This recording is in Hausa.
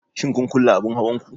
Shin kun kulle abin hawan ku?